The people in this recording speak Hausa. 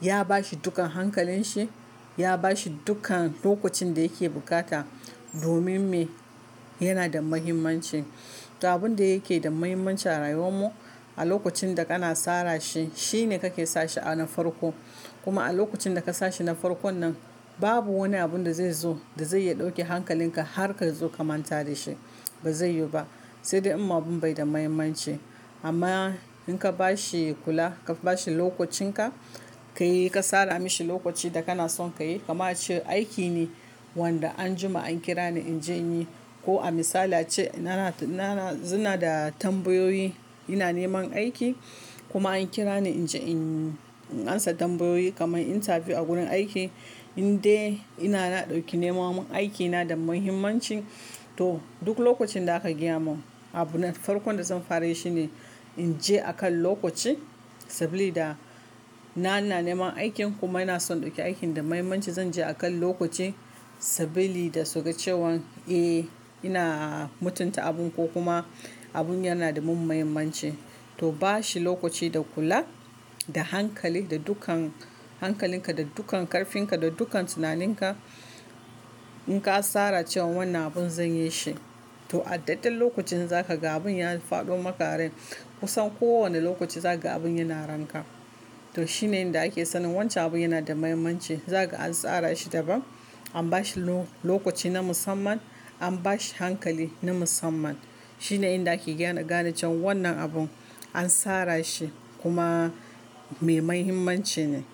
ya ba shi dukkan hankalin shi, ya ba shi dukkan lokacin da yake buƙata domin me? Yana da muhimmanci. To abun da yake da muhimmanci a rayuwar mu a lokacin da kana tsara shi, shi ne kake sashi a na farko. Kuma a lokacin da ka sashi na farkon nan babu wani abun da zai zo da zai iya ɗauke hankalin ka har ka zo ka manta da shi. Ba zai yiwu ba, sai dai in abun bai da mahimmanci. Amma in ka ba shi kula, ka ba shi lokacin ka, ka yi ka tsara mashi lokaci da kana son ka yi, kaman ace aiki ne wanda anjima an kira ni in je in yi ko a misala ce ina na, ina na, ina da tambayoyi, ina neman aiki kuma an kira ni in je in amsa tambayoyi kamar interview a gurin aiki in dai ina na ɗauki neman aiki na da muhimmanci to duk lokacin da aka gaya mun abun na farkon da zan fara yi shine in je akan lokaci saboda na ina neman aikin kuma ina son ɗauki aikin da muhimmanci zan je akan lokaci saboda su ga cewan, eh, ina mutunta abun ko kuma abun yana da mun muhimmanci. To ba shi lokaci da kula, da hankali, da dukkan hankalin ka, da dukkan ƙarfin ka, da dukkan tunanin ka. In ka tsara cewan wannan abun zan yi shi to a dadai lokacin za ka ga abun ya faɗo makare kusan kowane lokaci za ka ga abun yana ranka. To shine inda ake sanin wancen abun yana da muhimmanci. Zakaga an tsara shi daban, an ba shi lo-lokaci na musamman, an ba shi hankali na musamman. Shine inda ake gane, gane cewan wannan abun an tsara shi kuma me muhimmanci ne.